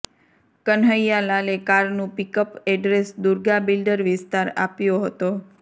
કન્હૈયાલાલે કારનું pickup address Durga builder વિસ્તાર આપ્યો હતો